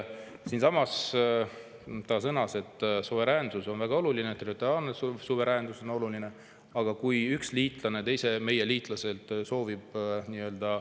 Siinsamas sõnas välisminister, et suveräänsus on väga oluline, territoriaalne on oluline, aga kui üks liitlane soovib meie teiselt liitlaselt saada maad endale …